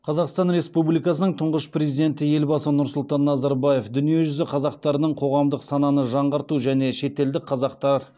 қазақстан республикасының тұңғыш президенті елбасы нұрсұлтан назарбаев дүниежүзі қазақтарының қоғамдық сананы жаңғырту және шетелдік қазақтар